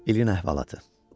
İlin əhvalatı.